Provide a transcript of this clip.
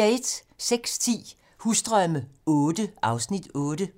06:10: Husdrømme VIII (Afs. 8)